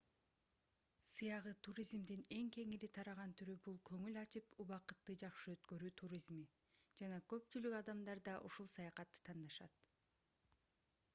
сыягы туризмдин эң кеңири тараган түрү бул көңүл ачып убакытты жакшы өткөрүү туризми жана көпчүлүк адамдарды ушул саякатты тандашат